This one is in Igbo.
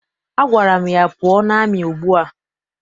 Agwara m ya, pụọ n'amị ugbua!